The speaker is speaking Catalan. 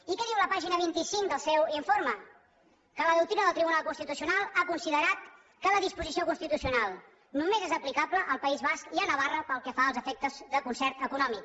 i què diu la pàgina vint cinc del seu informe que la doctrina del tribunal constitucional ha considerat que la disposició constitucional només és aplicable al país basc i a navarra pel que fa als efectes de concert econòmic